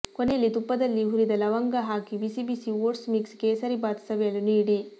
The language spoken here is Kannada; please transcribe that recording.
ಕೊನೆಯಲ್ಲಿ ತುಪ್ಪದಲ್ಲಿ ಹುರಿದ ಲವಂಗ ಹಾಕಿ ಬಿಸಿ ಬಿಸಿ ಓಟ್ಸ್ ಮಿಕ್ಸ್ ಕೇಸರಿ ಬಾತ್ ಸವಿಯಲು ನೀಡಿ